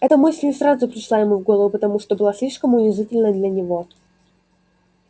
эта мысль не сразу пришла ему в голову потому что была слишком унизительной для него